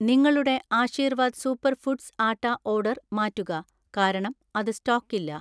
നിങ്ങളുടെ Aashirvaad super foods atta order മാറ്റുക, കാരണം അത് സ്റ്റോക്കില്ല